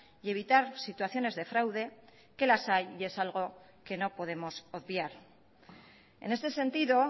y evitar situaciones de fraude que las hay y es algo que no podemos obviar en este sentido